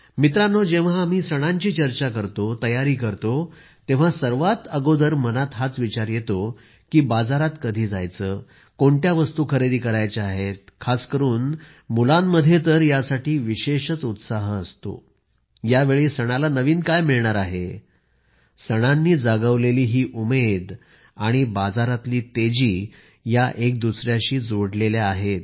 मित्रांनो जेव्हा आम्ही सणांची चर्चा करतो तयारी करतो तेव्हा सर्वात अगोदर मनात हाच विचार येतो की बाजारात कधी जायचं कोणत्या वस्तु खरेदी करायच्या आहेत खास करून मुलांमध्ये तर यासाठी विशेषच उत्साह असतो यावेळी सणाला नवीन काय मिळणार आहे सणांनी जागवलेली ही उमेद आणि बाजारातील तेजी या एकदुसऱ्याशी जोडलेल्या आहेत